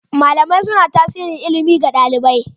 Malamai suna tasiri ilimi ga ɗalibi.